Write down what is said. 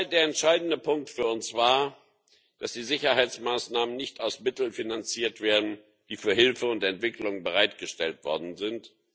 Der entscheidende Punkt für uns war, dass die Sicherheitsmaßnahmen nicht aus Mitteln finanziert werden, die für Hilfe und Entwicklung bereitgestellt worden sind.